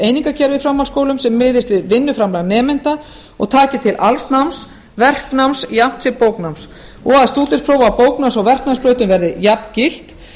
einingakerfi í framhaldsskólum sem miðist við vinnuframlag nemenda og taki til alls náms verknáms jafnt sem bóknáms og að stúdentsnám á bóknáms og verknámsbrautum verði jafngilt